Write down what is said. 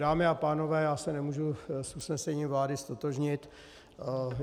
Dámy a pánové, já se nemůžu s usnesením vlády ztotožnit.